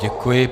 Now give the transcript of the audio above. Děkuji.